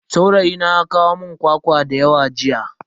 Saurayina ya kawo mun kwakwa dayawa jiya.